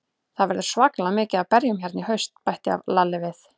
Það verður svakalega mikið af berjum hérna í haust, bætti Lalli við.